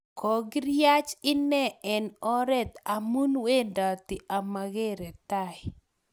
kokiriach ine eng oret amun wendati amakere tai